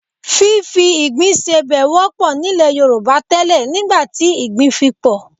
Fífi ìgbín sebẹ̀ wọ́pọ̀ nílẹ̀ Yorùbá tẹ́lẹ̀ nígbà tí ìgbín fi pọ̀